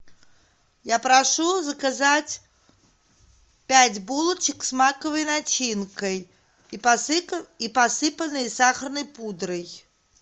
я прошу заказать пять булочек с маковой начинкой и посыпанной сахарной пудрой